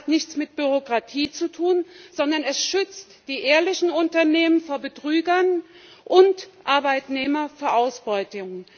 Das hat nichts mit Bürokratie zu tun, sondern es schützt die ehrlichen Unternehmen vor Betrügern und die Arbeitnehmer vor Ausbeutung.